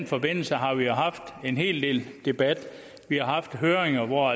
forbindelse har vi haft en hel del debat vi har haft høringer hvor